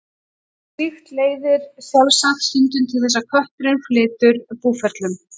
Slíkt leiðir sjálfsagt stundum til þess að kötturinn flytur búferlum.